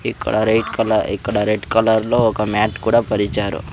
ఇక్కడ red colour ఇక్కడ red colour లో ఒక మ్యాట్ కూడా పరిచారు.